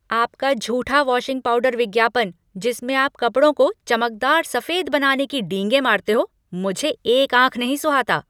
आपका झूठा washing powder विज्ञापन, जिसमें आप कपड़ों को चमकदार सफ़ेद बनाने की डींगें मारते हो, मुझे एक आँख नहीं सुहाता।